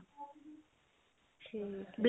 ਠੀਕ